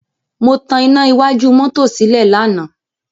Mo tan iná iwájú mọ́tò sílẹ̀ lánàá.